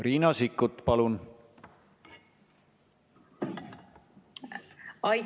Riina Sikkut, palun!